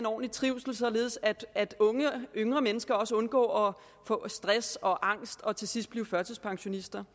ordentlig trivsel således at yngre mennesker undgår at få stress og angst og til sidst blive førtidspensionister